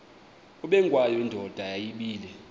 ubengwayo indoda yayibile